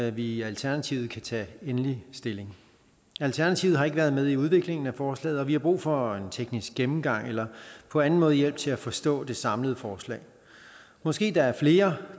i alternativet kan tage endelig stilling alternativet har ikke været med i udviklingen af forslaget og vi har brug for en teknisk gennemgang eller på anden måde hjælp til at forstå det samlede forslag måske er der flere